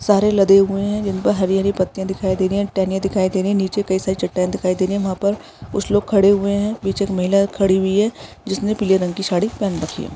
सारे लदे हुए है जीन पर हरी-हरी पत्तियां दिखाई दे रही है टेहनियाँ दिखाई दे रही है निचे कई सारी चट्टानें दिखाई दे रही है वहां पर कुछ लोग खड़े हुए है पीछे एक महिला खड़ी हुई है जिसने पिले रंग की साडी पेहन रखी हैं।